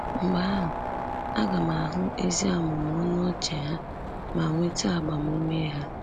Mgbe ahụ aga m ahụ ezi amụmụ ọnụ ọchị ha ma nweta agbamume ha.